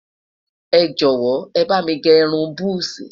ẹjọ wò, é bá mí gé irún buzi